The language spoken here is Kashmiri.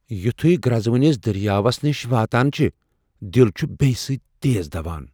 یُتھوٕے گرٛزونِس دریاوس نِش واتان چھِ ،دِل چُھ بیہ سۭتۍ تیز دوان ۔